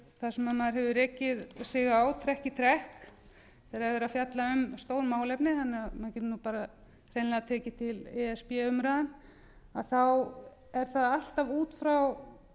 maður hefur rekið sig á trekk í trekk þegar er verið að fjalla um stór málefni menn geta bara hreinlega tekið til e s b umræðuna þá er það alltaf út frá